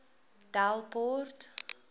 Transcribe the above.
delport